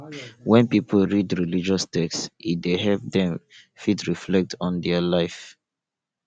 when pipo read religious text e dey help dem fit reflect on their life